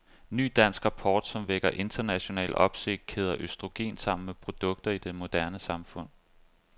Ny dansk rapport, som vækker international opsigt, kæder østrogen sammen med produkter i det moderne samfund.